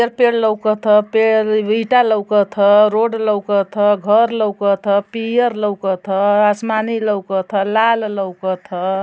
पेड़ लउकथ पेड़ ईटा लउकथ रोड लउकथ घर लउकथ पियर लउकथ आसमानी लउकथ लाल लउकथ |